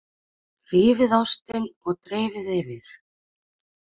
Rífið ostinn og dreifið yfir.